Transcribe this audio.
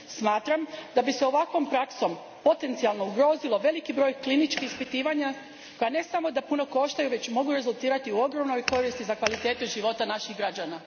Smatram da bi se ovakvom praksom potencijalno ugrozio veliki broj kliničkih ispitivanja koja ne samo da puno koštaju, već mogu rezultirati ogromnim koristima za kvalitetu života naših građana.